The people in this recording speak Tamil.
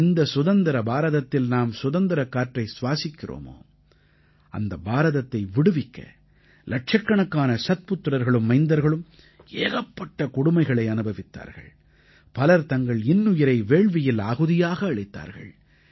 எந்தச் சுதந்திர பாரதத்தில் நாம் சுதந்திரக் காற்றை சுவாசிக்கிறோமோ அந்த பாரதத்தை விடுவிக்க இலட்சக்கணக்கான சத்புத்திரர்களும் மைந்தர்களும் ஏகப்பட்ட கொடுமைகளை அனுபவித்தார்கள் பலர் தங்கள் இன்னுயிரை வேள்வியில் ஆகுதியாக அளித்தார்கள்